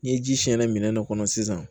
Ni ji siyɛnna minɛn dɔ kɔnɔ sisan